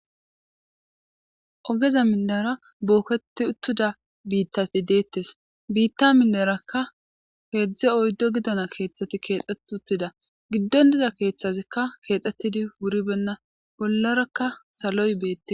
Ogeza mindara booketi uttuda biittati deettes biitta minderakka peedzdze oyddo gidana keeththati keexxet uttida giddon diza keeththazikka keexxettidi wuri benna bollarakka saloy beette.